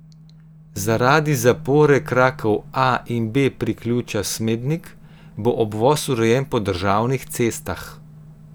Zaradi zapore krakov A in B priključka Smednik bo obvoz urejen po državnih cestah.